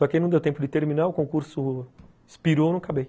Só que não deu tempo de terminar, o concurso expirou e eu não acabei.